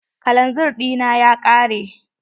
Kalanzir ɗina ya ƙare.